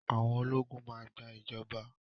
Àwọn ológun máa gba ìjọba.